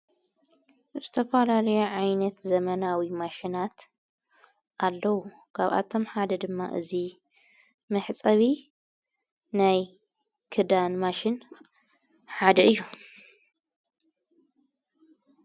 ዝተፍላለያ ዓይነት ዘመናዊ ማሽናት ኣለዉ። ካብኣቶም ሓደ ድማ እዙይ መሕጸቢ ናይ ክዳን ማሽን ሓደ እዩ።